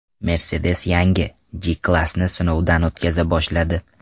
Mercedes yangi G-Class’ni sinovdan o‘tkaza boshladi.